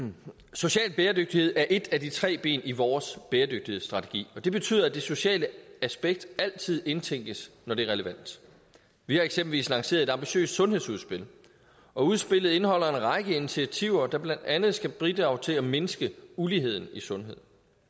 social bæredygtighed er et af de tre ben i vores bæredygtighedsstrategi og det betyder at det sociale aspekt altid indtænkes når det er relevant vi har eksempelvis lanceret et ambitiøst sundhedsudspil og udspillet indeholder en række initiativer der blandt andet skal bidrage til at mindske uligheden i sundhed